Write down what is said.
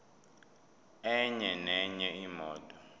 enye nenye imoto